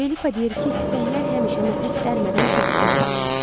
Felipa deyir ki, sisəklər həmişə nəfəs dərmədən səsküy salırlar.